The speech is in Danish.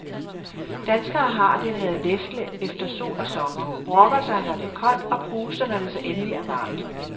Danskere har det med at lefle efter sol og sommer, brokker sig når det er koldt og pruster, når det så endeligt er varmt.